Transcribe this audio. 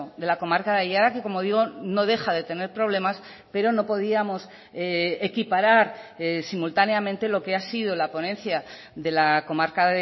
de la comarca de aiara que como digo no deja de tener problemas pero no podíamos equiparar simultáneamente lo que ha sido la ponencia de la comarca